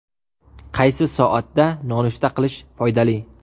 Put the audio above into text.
Qaysi soatda nonushta qilish foydali?.